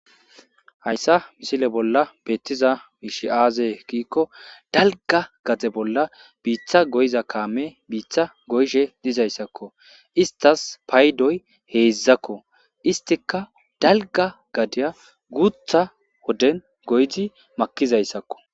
Hayssa misile bolla beettiza miishi aaze kiikko dalga gade bolla biitha goyza kaame biitha goyshe dizayssakko istas paydoy heedzdzakko istika dalga gadeya guutha wodden goyzi makizayssakko.